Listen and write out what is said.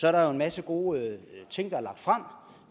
er der jo en masse gode ting